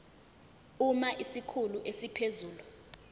uma isikhulu esiphezulu